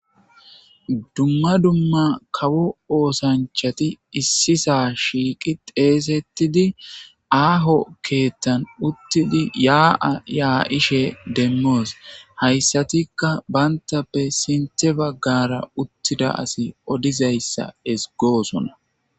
Dumma dumma kawo oosanchati issisa shiiqi xeesettidi aaho keettan uttidi yaaa yaa7ishe demmoos hayssatikka bayntappe sinte baggara uttida asi odizayssa esgoosona.